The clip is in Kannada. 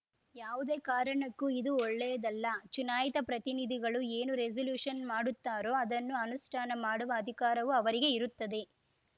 ಯಾವುದೇ ಕಾರಣಕ್ಕೂ ಇದು ಒಳ್ಳೆಯದಲ್ಲ ಚುನಾಯಿತ ಪ್ರತಿನಿಧಿಗಳು ಏನು ರೆಸಲ್ಯೂಷನ್‌ ಮಾಡುತ್ತಾರೋ ಅದನ್ನು ಅನುಷ್ಠಾನ ಮಾಡುವ ಅಧಿಕಾರವು ಅವರಿಗೆ ಇರುತ್ತದೆ